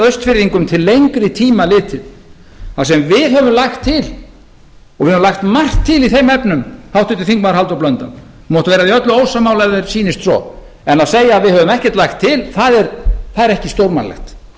austfirðingum til lengri tíma litið það sem við höfum lagt til og við höfum lagt margt til í þeim efnum háttvirtur þingmaður halldór blöndal þú mátt vera því öllu ósammála ef þér sýnist svo en að segja að við höfum ekkert lagt til það er ekki stórmannlegt